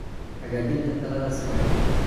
Hagaajinta Tayada Silage